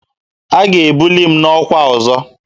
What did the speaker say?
A ga-ebuli m n'ọkwa ọzọ